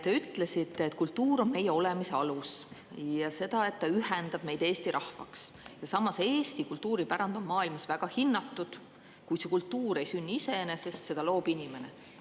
Te ütlesite, et kultuur on meie olemise alus ja et see ühendab meid Eesti rahvaks, Eesti kultuuripärand on maailmas väga hinnatud, kuid see kultuur ei sünni iseenesest, seda loob inimene.